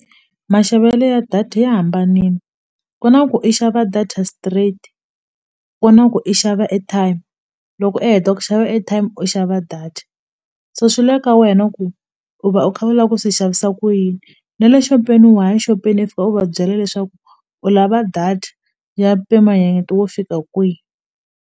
Maxavelo ya data ya hambanini ku na ku i xava data straight ku na ku i xava airtime loko u heta ku xava airtime u xava data so swi le ka wena ku u va u kha u la ku swi xavisa ku yini na le xopeni wa ya xopeni i fika u va byela leswaku u lava data ya mpimanyeto wo fika kwihi.